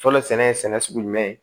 Fɔlɔ sɛnɛ ye sɛnɛ sugu jumɛn ye